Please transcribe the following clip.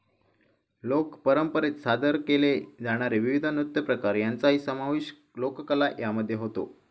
लोक परंपरेत सादर केले जाणारे विविध नृत्यप्रकार यांचाही समावेश लोककला यामध्ये होतो.